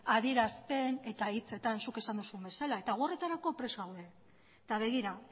adierazpen eta hitzetan zuk esan duzun bezala eta gu horretarako prest gaude eta begira